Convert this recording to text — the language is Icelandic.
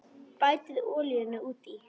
Bætið olíunni út í.